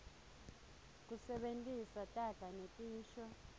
kusebentisa taga netisho